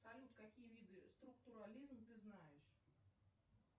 салют какие виды структурализм ты знаешь